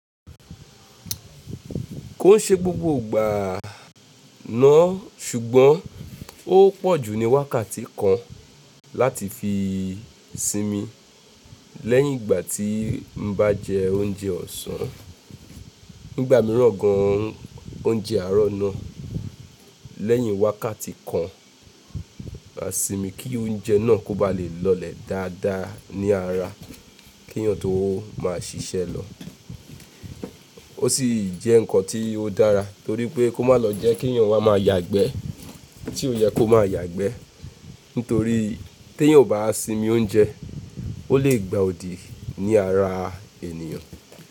Kó n ṣe gbogbo ìgbà náà sùgbọ́n ó pọ̀ jú ni wákàtí kan láti fi sinmi lẹ́yìn ìgbà tí mo bá jẹ oúnjẹ ọ̀sán. Nígbà mìíràn gan an oúnjẹ àárọ̀ náà lẹ́yìn wákàtí kan, màá sinmi kí oúnjẹ náà kó ba lè lọlẹ̀ dáadáa ní ara kí eeyán tó máa ṣiṣẹ́ lọ. Ó sì jẹ́ nǹkan tí ó dára torí pé kó má lọ jẹ́ kí eeyán wa máa yagbẹ́ tí ó yẹ kó máa yagbẹ́. Nítorí tí èèyàn ò bá sinmi oúnjẹ, ó lè gba òdì ní ara ènìyàn.